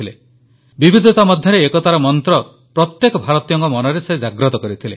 ସେ ବିବିଧତା ମଧ୍ୟରେ ଏକତାର ମନ୍ତ୍ର ପ୍ରତ୍ୟେକ ଭାରତୀୟଙ୍କ ମନରେ ଜାଗ୍ରତ କରିଥିଲେ